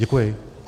Děkuji.